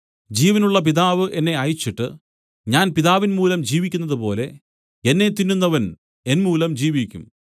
ജീവനുള്ള പിതാവ് എന്നെ അയച്ചിട്ട് ഞാൻ പിതാവിൻമൂലം ജീവിക്കുന്നതുപോലെ എന്നെ തിന്നുന്നവൻ എന്മൂലം ജീവിക്കും